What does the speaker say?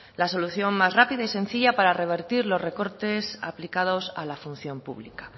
la solución más rápida y sencilla para revertir los recortes aplicados a la función pública